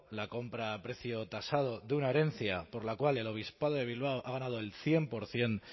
la compra a precio tasado de una herencia por la cual el obispado de bilbao ha ganado el cien por ciento